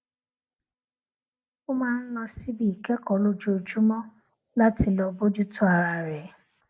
ó máa ń lọ síbi ìkékòó lójoojúmó láti lọ bójú tó ara rè